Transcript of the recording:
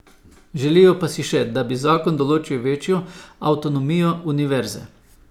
Želijo pa si še, da bi zakon določil večjo avtonomijo univerze.